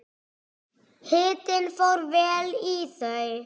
Hitinn fór vel í þau.